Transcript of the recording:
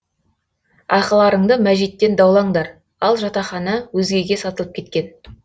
ақыларыңды мәжиттен даулаңдар ал жатақхана өзгеге сатылып кеткен